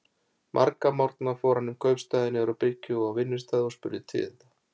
Marga morgna fór hann um kaupstaðinn, niður á bryggju og á vinnustaði, og spurði tíðinda.